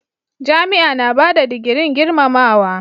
Jami'a na bada digirin girmamawa.